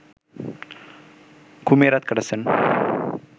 ঘুমিয়ে রাত কাটাচ্ছেন